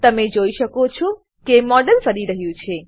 તમે જોઈ શકો છો કે મોડેલ ફરી રહ્યું છે